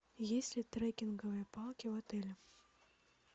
есть ли треккинговые палки в отеле